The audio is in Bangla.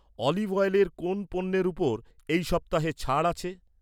ওলিভওয়েরের কোন পণ্যের ওপর, এই সপ্তাহে ছাড় আছে?